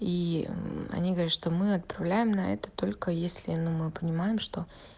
и они говорят что мы отправляем на это только если ну мы понимаем что